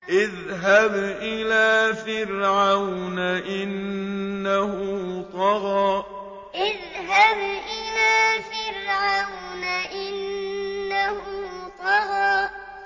اذْهَبْ إِلَىٰ فِرْعَوْنَ إِنَّهُ طَغَىٰ اذْهَبْ إِلَىٰ فِرْعَوْنَ إِنَّهُ طَغَىٰ